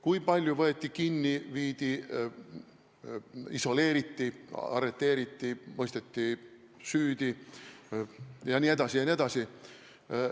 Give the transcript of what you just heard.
Kui palju võeti kinni, isoleeriti, arreteeriti, mõisteti süüdi jne?